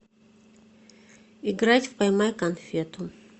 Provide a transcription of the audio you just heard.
играть в поймай конфету